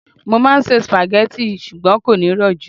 mo ma n se spaghetti, ṣugbọn kò ní ro ju